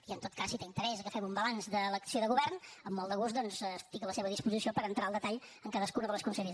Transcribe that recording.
i en tot cas si té interès en que fem un balanç de l’acció de govern amb molt de gust doncs estic a la seva disposició per entrar al detall en cadascuna de les conselleries